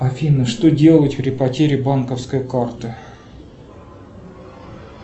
афина что делать при потере банковской карты